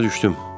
Başa düşdüm.